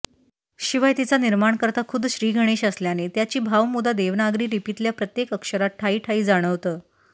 शिवाय तिचा निर्माणकर्ता खुद्द श्रीगणेश असल्याने त्याची भावमुदा देवनागरी लिपीतल्या प्रत्येक अक्षरात ठायी ठायी जाणवतं